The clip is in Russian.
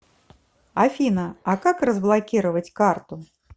афина а как разблокировать карту